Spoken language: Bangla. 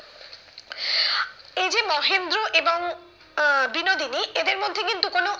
এই যে মহেন্দ্র এবং আহ বিনোদিনী এদের মধ্যে কিন্তু কোনো